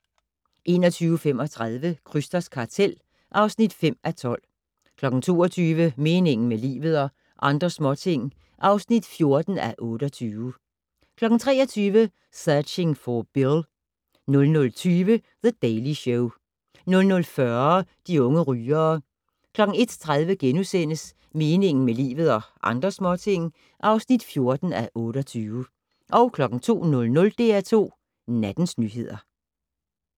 21:35: Krysters kartel (5:12) 22:00: Meningen med livet - og andre småting (14:28) 23:00: Searching for Bill 00:20: The Daily Show 00:40: De unge rygere 01:30: Meningen med livet - og andre småting (14:28)* 02:00: DR2 Nattens nyheder